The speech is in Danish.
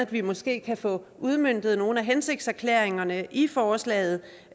vi måske kan få udmøntet nogle af hensigtserklæringerne i forslaget